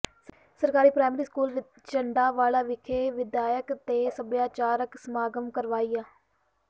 ਸਰਕਾਰੀ primary school Jandanwala ਵਿਖੇ ਵਿੱਦਿਅਕ ਤੇ ਸੱਭਿਆਚਾਰਕ ਸਮਾਗਮ ਕਰਵਾਇਆ